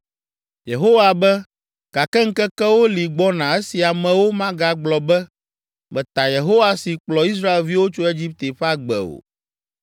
“Yehowa be, gake ŋkekewo li gbɔna esi amewo magagblɔ be, ‘Meta Yehowa si kplɔ Israelviwo tso Egipte ƒe agbe’ o.